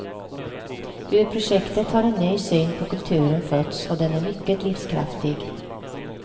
Ur projektet har en ny syn på kulturen fötts och den är mycket livskraftig.